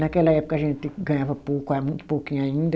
Naquela época a gente ganhava pouco a, muito pouquinho ainda.